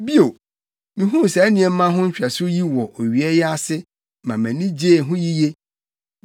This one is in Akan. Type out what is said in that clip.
Bio, mihuu saa nimdeɛ ho nhwɛso yi wɔ owia yi ase ma mʼani gyee ho yiye: